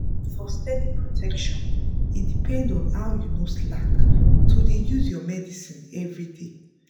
for steady protection e depend on how you no slack to dey use your medicine everyday.